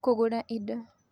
Kũgũra Indo: